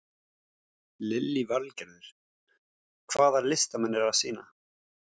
Lillý Valgerður: Hvaða listamenn eru að sýna?